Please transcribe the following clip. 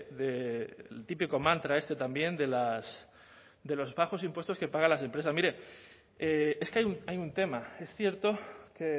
del típico mantra este también de los plazos e impuestos que pagan las empresas mire es que hay un tema es cierto que